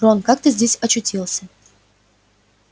рон как ты здесь очутился